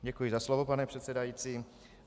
Děkuji za slovo, pane předsedající.